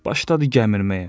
Başladı gəmirəməyə.